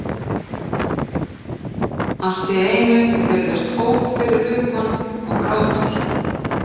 Allt í einu heyrðust óp fyrir utan- og grátur.